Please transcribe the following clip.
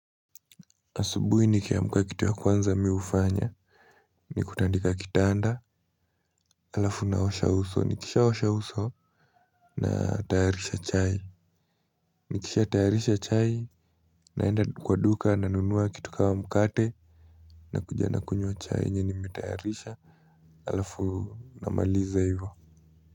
Asubuhi nikiamka kitu ya kwanza mimi hufanya ni kutandika kitanda alafu naosha uso nikisha osha uso natayarisha chai. Nikisha tayarisha chai naenda kwa duka nanunua kitu kama mkate nakuja nakunywa chai yenye nimetayarisha alafu namaliza hivyo.